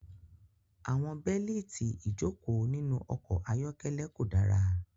Àwọn bélíìtì ìjókòó nínú ọkọ̀ ayọ́kẹ́lẹ́ kò dára.